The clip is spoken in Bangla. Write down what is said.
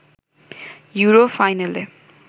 ইউরো ফাইনালে